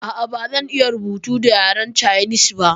Ah ah bazan iya rubutu da yaren canis ba